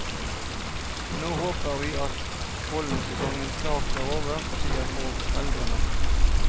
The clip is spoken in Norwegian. Nå håper vi at pollensesongen snart er over, sier foreldrene.